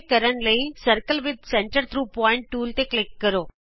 ਇਹ ਕਰਨ ਲਈ circle with centre through point tool ਤੇ ਕਲਿਕ ਕਰੋ